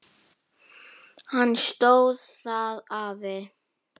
Hann stóðst það afl.